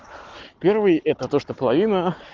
первый это то что половина